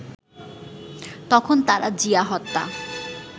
তখন তারা জিয়া হত্যা